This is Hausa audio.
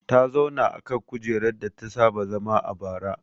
Ta zauna akan kujerar data saba zama a baya